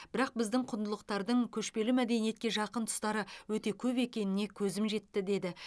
бірақ біздің құндылықтардың көшпелі мәдениетке жақын тұстары өте көп екеніне көзіміз жетті деді